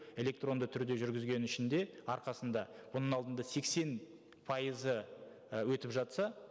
электронды түрде жүргізгеннің ішінде арқасында оның алдында сексен пайызы і өтіп жатса